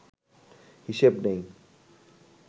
হিসেব নেই